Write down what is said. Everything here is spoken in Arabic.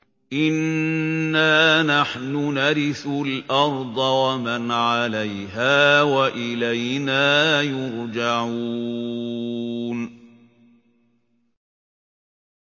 إِنَّا نَحْنُ نَرِثُ الْأَرْضَ وَمَنْ عَلَيْهَا وَإِلَيْنَا يُرْجَعُونَ